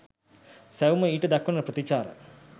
සැවොම ඊට දක්වන ප්‍රතිචාර